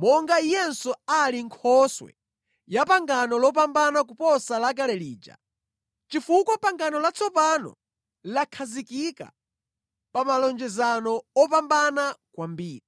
monga Iyenso ali Nkhoswe ya pangano lopambana kuposa lakale lija, chifukwa pangano latsopano lakhazikika pa malonjezano opambana kwambiri.